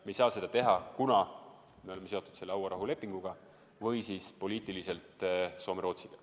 Me ei saa seda teha, kuna me oleme seotud selle hauarahulepinguga või poliitiliselt seotud Soome ja Rootsiga.